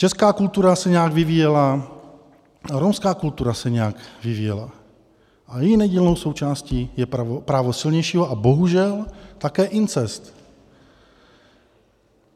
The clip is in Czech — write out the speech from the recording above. Česká kultura se nějak vyvíjela, romská kultura se nějak vyvíjela a její nedílnou součástí je právo silnějšího a bohužel také incest.